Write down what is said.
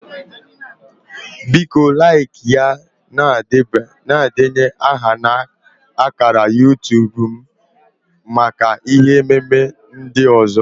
Biko laịkịa na denye aha na ákàrà YuuTub m maka ihe ememe ndị ọzọ